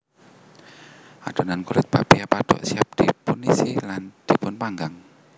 Adhonan kulit bakpia pathuk siap dipunisi lan dipunpanggang